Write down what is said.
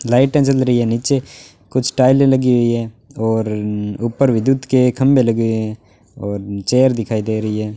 लाइटे जल रही हैं नीचे कुछ टाइले लगी हुई है और न्न् ऊपर विद्युत के खंभे लगे हैं और चेयर दिखाई दे रही हैं।